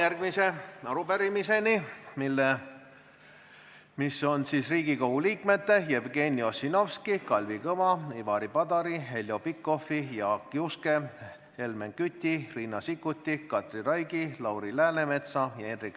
Järgmine päevakorrapunkt on arupärimine, mille on esitanud Riigikogu liikmed Urve Tiidus, Jüri Jaanson, Kristina Šmigun-Vähi, Andrus Seeme, Madis Milling, Aivar Sõerd, Andres Sutt, Maris Lauri, Kaja Kallas, Erkki Keldo, Marko Mihkelson ja Jürgen Ligi.